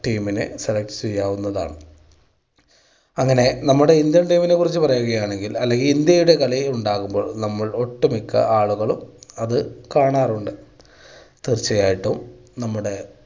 team നെ select ചെയ്യാവുന്നതാണ്. അങ്ങനെ നമ്മുടെ ഇന്ത്യൻ team നെ കുറിച്ച് പറയുകയാണെങ്കിൽ അല്ലെങ്കിൽ ഇന്ത്യയുടെ കളി ഉണ്ടാകുമ്പോൾ നമ്മൾ ഒട്ട് മിക്ക ആളുകളും അത് കാണാറുണ്ട്. തീർച്ചയായിട്ടും നമ്മുടെ